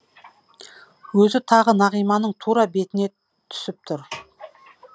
өзі тағы нағиманың тура бетіне түсіп тұр